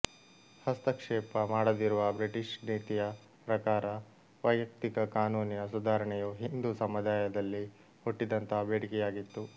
ಹಸ್ತಕ್ಷೇಪ ಮಾಡದಿರುವ ಬ್ರಿಟಿಷ್ ನೀತಿಯ ಪ್ರಕಾರ ವೈಯಕ್ತಿಕ ಕಾನೂನಿನ ಸುಧಾರಣೆಯು ಹಿಂದೂ ಸಮುದಾಯದಲ್ಲಿ ಹುಟ್ಟಿದಂತಹ ಬೇಡಿಕೆಯಾಗಿತ್ತು